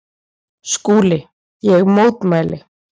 SKÚLI: Ég mótmæli!